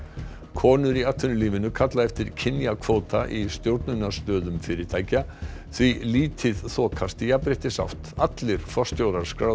konur í atvinnulífinu kalla eftir kynjakvóta í stjórnunarstöðum fyrirtækja því lítið þokast í jafnréttisátt allir forstjórar skráðra